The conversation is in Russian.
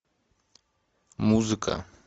музыка